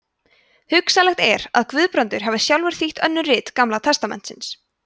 hugsanlegt er að guðbrandur hafi sjálfur þýtt önnur rit gamla testamentisins